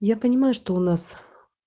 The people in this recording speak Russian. я понимаю что у нас